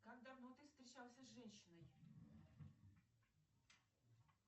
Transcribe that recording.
как давно ты встречался с женщиной